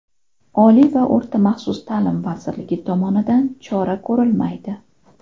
Oliy va o‘rta maxsus ta’lim vazirligi tomonidan chora ko‘rilmaydi.